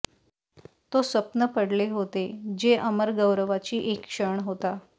तो स्वप्न पडले होते जे अमर गौरवाची एक क्षण होता